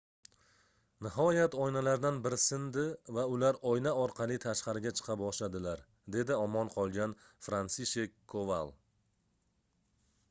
nihoyat oynalardan biri sindi va ular oyna orqali tashqariga chiqa boshladilar dedi omon qolgan fransishek koval